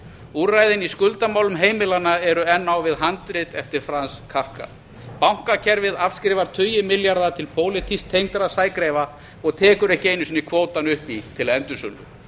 úrræðin í skuldamálum heimilanna eru enn á við handrit eftir fram scapka bankakerfið afskrifar tugi milljarða til pólitískt tengdra sægreifa og tekur ekki einu sinni kvótann upp í til endursölu